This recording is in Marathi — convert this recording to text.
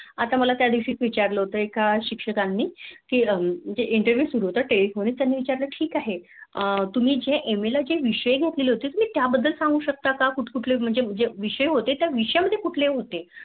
आता माला त्या दिवशी विचारलं होत शिक्षकाने कि म्हणजे iNTERVIEW सुरु होता ठीक आहे तुम्ही MA ला जे विषय घेतले होते त्या बद्द्दल सांगू शकता का? कुठ कुठ्ल म्हणजे विषय मधले कुठले विषय होते